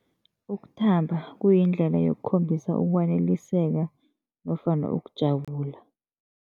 Ukuthamba kuyindlela yokukhombisa ukwaneliseka nofana ukujabula.